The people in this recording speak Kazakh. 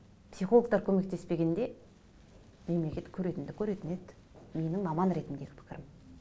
психологтар көмектеспегенде мемлекет көретінді көретін еді менің маман ретіндегі пікірім